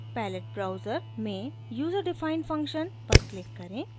palette browser में userdefined function पर click करें